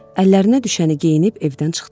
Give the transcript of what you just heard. Əllərinə düşəni geyinib evdən çıxdılar.